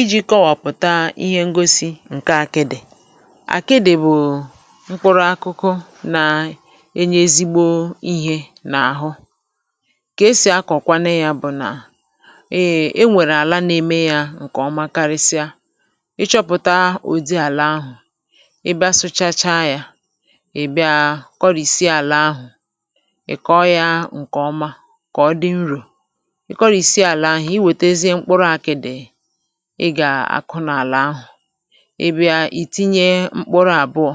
Ìjì kọwapụ̀ta ihe ngosi ǹke àkịdì, àkịdì bù mkpụrụ akụkụ na enye ezigbo ihė n’àhụ, kà esì akọ̀kwanụ yȧ bụ̀ nà, eeh enwèrè àla na-eme yȧ ǹkèọma karịsịa, ịchọ̇pụ̀ta òdi àlà ahụ̀ ịbịa sụchachaa yȧ, ị̀bịa kọrị̀sịa àlà ahụ̀, ị̀ kọọ yȧ ǹkèọma kàọ dị nrò, ị kọrìsịa àlà ahụ̀ ị wetezie mkpụrụ àkịdì ị gà-akụ n’àlà ahụ̀, ị̀bia ì tinye mkpuru àbụọ̀,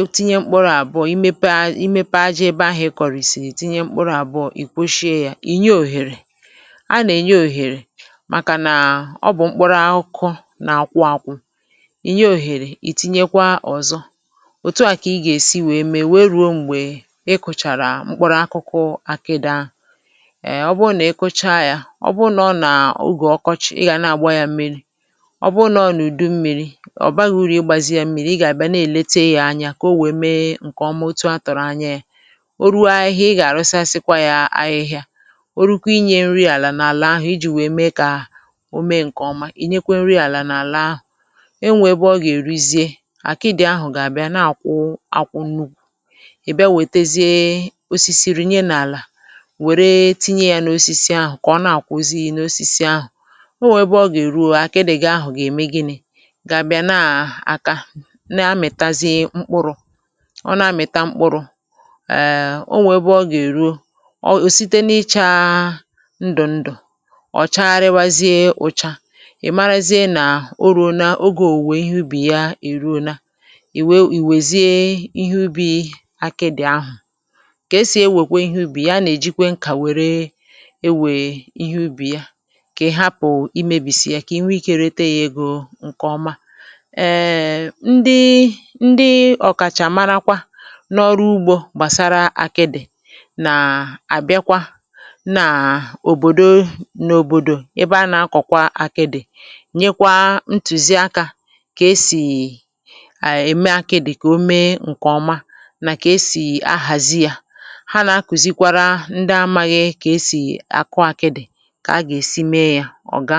ịtinye mkpuru àbụọ̀, imepe imepe ajọ̇ ebe ahụ̀ ịkọ̀rị̀ sì ì tinye mkpuru àbụọ̀, ì kwoshie ya, ì nye òhèrè, a nà-ènye òhèrè màkà nà ọ bụ̀ mkpuru akụkụ na-akwụ akwụ, ì nye òhèrè ì tinyekwa ọ̀zọ, òtù a kà ị gà-èsi wee mee wee rùo m̀gbè ị kụ̀chàrà mkpuru akụkụ àkịdì ahụ, um ọ bụrụ nà ịkụcha ya, ọbu na ógè okochi ịga na agba ya mmiri, ọbu na ọ nụ̀du mmiri̇ ọ̀ baghi uru̇ ịgbȧzi yȧ mmiri̇, ị gà-àbịa na-èlete yȧ anyȧ kà o wèe mee ǹkèọma otu a tụ̀rụ̀ anya yȧ, o ruo ahịhịa ị gà-àrụsasịkwa yȧ ahịhịa, o rukwu inyė nri àlà n’àlà n’àlà ahụ̀ i jì wèe mee kà o mee ǹkèọma ì nyekwe nri àlà n’àlà ahụ̀, e nwèe bụ ọ gà-èrizie àkịdị̀ ahụ̀ gà-àbịa na-àkwụ akwụ nnu̇kwu, ì bịa wètezie osisi rinye n’àlà wère tinye yȧ n’osisi ahụ̀ kà ọna akwụ zí na osisi ahu, o nwè ebe ọ gà-èruo, àkịdị̇ gị̇ ahụ̀ gà-ème gị̇nị, gà-àbịa na àkà, na-amị̀tazie mkpụrụ̇, ọ na-amị̀ta mkpụrụ̇ um o nwè ebe ọ gà-èruo, ọ ọ site na-ịchaa ndụ̀ ndụ̀ ọ̀ chariwazie ụcha, ì marazie nà o ru̇o na ogė ò wùwè ihe ubì ya è ruo nà, ì wee ì wèzie ihe ubi̇ àkịdị̀ ahụ̀, kà esì ewèkwe ihe ubì ya anà-èjikwe nkà wère ewè ihe ubì ya, kà ị̀ hapụ̀ imėbìsị̀ ya, kà inwe ikė irete yȧ egȯ ǹkè ọma, eee ndị ndị ọ̀kàchà marakwa n’ọrụ ugbȯ gbàsara akịdị̀ nà àbịakwa nà òbòdo n’òbòdò ebe a nà-akọ̀kwa akịdị̀ nyekwa ntùzi akȧ kà esì ème akịdị̀ kà o mee ǹkè ọma nà kà esì ahàzi yȧ, ha nà-akùzikwara ndị amaghị kà esì àkụ akịdị̀ ka aga esị mé ya ọga.